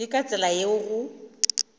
ke ka tsela yeo go